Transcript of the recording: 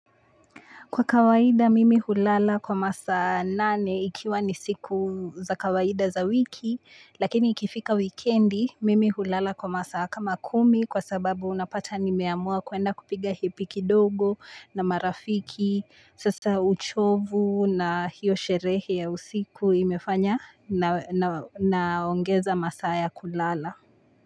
Kwa kawaida mimi hulala kwa masaa nane ikiwa ni siku za kawaida za wiki lakini ikifika weekendi mimi hulala kwa masa kama kumi kwa sababu unapata nimeamua kwenda kupiga hepiki dogo na marafiki sasa uchovu na hiyo sherehe ya usiku imefanya na ongeza masaa ya kulala.